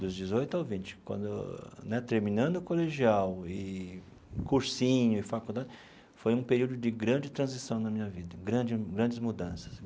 dos dezoito ao vinte quando né, terminando o colegial, e cursinho e faculdade, foi um período de grande transição na minha vida, grande grandes mudanças.